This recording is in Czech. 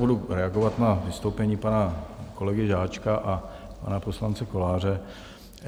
Budu reagovat na vystoupení pana kolegy Žáčka a pana poslance Koláře.